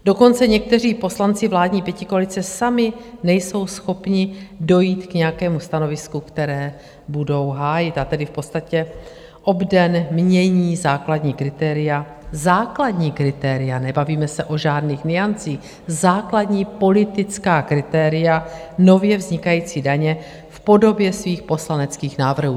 Dokonce někteří poslanci vládní pětikoalice sami nejsou schopni dojít k nějakému stanovisku, které budou hájit, a tedy v podstatě obden mění základní kritéria - základní kritéria, nebavíme se o žádných nuancích - základní politická kritéria nově vznikající daně v podobě svých poslaneckých návrhů.